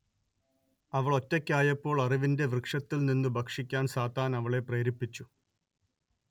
അവൾ ഒറ്റയ്ക്കായപ്പോൾ അറിവിന്റെ വൃക്ഷത്തിൽ നിന്നു ഭക്ഷിക്കാൻ സാത്താൻ അവളെ പ്രേരിപ്പിച്ചു